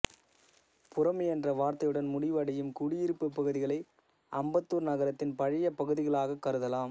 புரம் என்ற வார்த்தையுடன் முடிவடையும் குடியிருப்பு பகுதிகளை அம்பத்தூர் நகரத்தின் பழைய பகுதிகளாகக் கருதலாம்